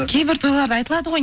кейбір тойларда айтылады ғой